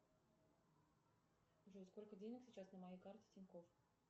джой сколько денег сейчас на моей карте тинькофф